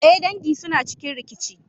Eh, dangi suna cikin rikici.